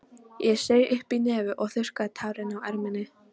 Ég saug upp í nefið og þurrkaði tárin á erminni.